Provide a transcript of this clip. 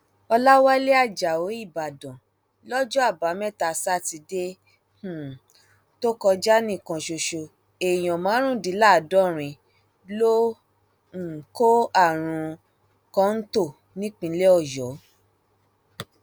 ọlàwálẹ ajáò ìbàdàn lọjọ àbámẹta sátidé um tó kọjá nìkan ṣoṣo èèyàn márùndínláàádọrin ló um kó àrùn kọńtò nípínlẹ ọyọ